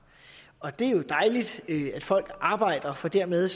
og det er dejligt at folk arbejder for dermed